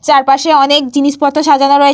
চারপাশে অনেক জিনিসপত্র সাজানো রয়ে --